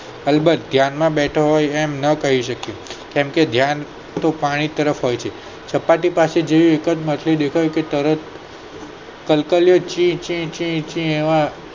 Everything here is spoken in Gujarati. કલબલ ધ્યાન માં ન બેઠા હોયએમ ન કહી શકીયે કેમ કે ધ્યાન પાણી તરફ હોય છે સપાટી પાસે જે માછલી દેખાય તે તરત જ કલકલિયો છે છે છે.